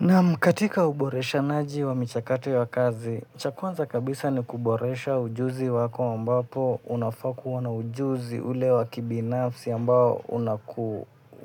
Naam katika uboreshanaji wa michakato ya kazi, cha kwanza kabisa ni kuboresha ujuzi wako ambapo unafaa kuwa na ujuzi ule wakibinafsi ambao